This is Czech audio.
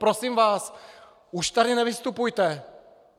Prosím vás, už tady nevystupujte.